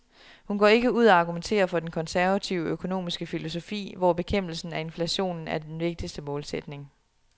Hun går ikke ud og argumenterer for den konservative økonomiske filosofi, hvor bekæmpelsen af inflationen er den vigtigske målsætning.